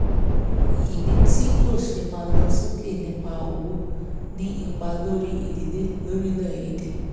ìní ti ìní ti kò ṣeé máa ń lo sókè nípa owó ń ní ipa lórí ìdílé lórílẹ̀-èdè